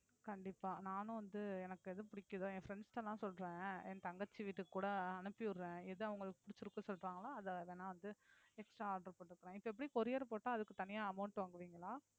கண்டிப்பா நானும் வந்து எனக்கு எது பிடிக்குதோ என் friends ட்டலாம் சொல்றேன் என் தங்கச்சி வீட்டுக்கு கூட அனுப்பி விடுறேன் எத அவங்களுக்கு பிடிச்சிருக்குன்னு சொல்றாங்களோ அதை வேணா வந்து extra order போட்டுக்கறேன் இப்ப எப்படி courier போட்டா அதுக்கு தனியா amount வாங்குவீங்களா